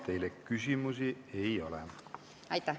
Teile küsimusi ei ole.